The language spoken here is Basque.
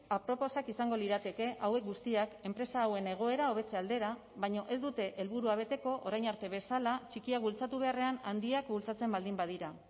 aproposak izango lirateke hauek guztiak enpresa hauen egoera hobetze aldera baina ez dute helburua beteko orain arte bezala txikiak bultzatu beharrean handiak bultzatzen baldin badira